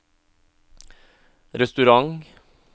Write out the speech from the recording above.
restaurant